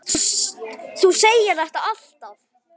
Þú segir þetta alltaf!